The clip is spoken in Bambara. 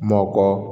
M'ɔ kɔ